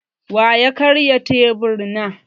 Wa ya karya teburi na?